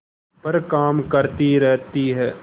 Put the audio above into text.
पर काम करती रहती है